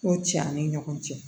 Ko tiɲɛ an ni ɲɔgɔn cɛ